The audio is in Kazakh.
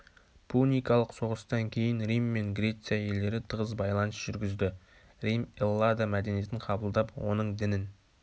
пуникалық соғыстан кейін рим мен греция елдері тығыз байланыс жүргізді рим эллада мәдениетін қабылдап оның дінін